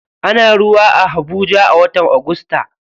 Ana ruwa a habuja a watan agusta.